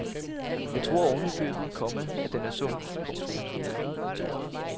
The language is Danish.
Jeg tror ovenikøbet, komma at den er sund. punktum